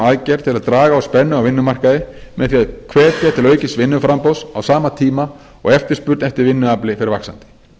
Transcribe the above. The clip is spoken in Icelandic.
aðgerð til að draga úr spennu á vinnumarkaði með því að hvetja til aukins vinnuframboðs á sama tíma og eftirspurn eftir vinnuafli fer vaxandi